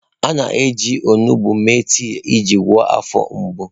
A na-eji onugbu mee tii iji gwọọ afọ mgbu.